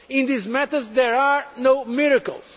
In these matters there are no miracles.